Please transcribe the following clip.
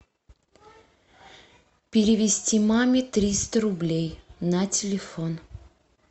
перевести маме триста рублей на телефон